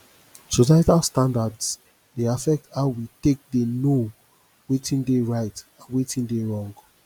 societal standards dey affect how we take dey know wetin dey right and wetin dey wrong